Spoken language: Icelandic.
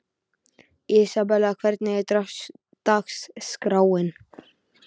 Ísabel, hvernig er dagskráin?